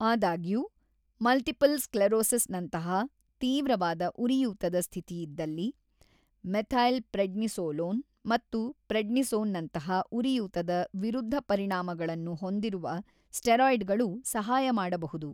ಆದಾಗ್ಯೂ, ಮಲ್ಟಿಪಲ್ ಸ್ಕ್ಲೆರೋಸಿಸ್‌ನಂತಹ ತೀವ್ರವಾದ ಉರಿಯೂತದ ಸ್ಥಿತಿಯಿದ್ದಲ್ಲಿ, ಮೆಥೈಲ್‌ಪ್ರೆಡ್ನಿಸೋಲೋನ್ ಮತ್ತು ಪ್ರೆಡ್ನಿಸೋನ್‌ನಂತಹ ಉರಿಯೂತದ ವಿರುದ್ದಪರಿಣಾಮಗಳನ್ನು ಹೊಂದಿರುವ ಸ್ಟೀರಾಯ್ಡ್‌ಗಳು ಸಹಾಯ ಮಾಡಬಹುದು.